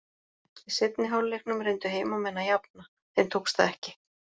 Í seinni hálfleiknum reyndu heimamenn að jafna, þeim tókst það ekki.